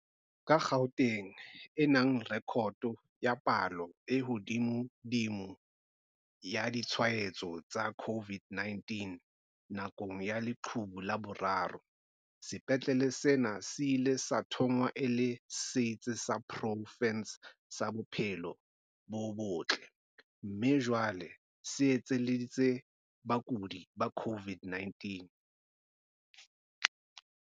Ka Gauteng e nang rekoto ya palo e hodimodimo ya ditshwaetso tsa COVID-19 nakong ya leqhubu la boraro, sepetlele sena se ile sa thongwa e le setsi sa profense sa bophelo bo botle mme jwale se iteletse bakudi ba COVID-19.